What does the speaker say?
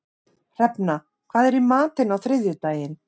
Hrefna, hvað er í matinn á þriðjudaginn?